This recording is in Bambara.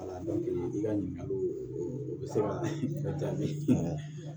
Ala dɔnke i ka ɲininkali o bɛ se ka diya ne ye